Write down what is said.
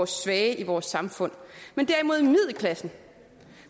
svage i vores samfund men derimod middelklassen